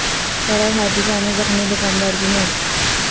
سڑک حاد ثہ میں زخمی د کاندار کی موت